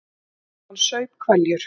Mamma hans saup hveljur.